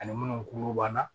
Ani minnu kuru banna